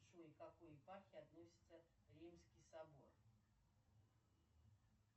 джой к какой епархии относится римский собор